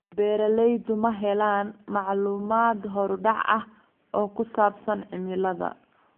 Beeraleydu ma helaan macluumaad horudhac ah oo ku saabsan cimilada.